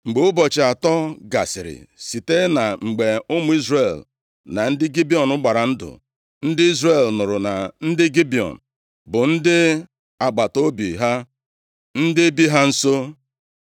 Mgbe ụbọchị atọ gasịrị site na mgbe ụmụ Izrel na ndị Gibiọn gbara ndụ, ndị Izrel nụrụ na ndị Gibiọn bụ ndị agbataobi ha, ndị bi ha nso.